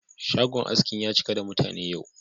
Shagon askin ya cika da mutane yau.